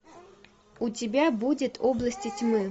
у тебя будет области тьмы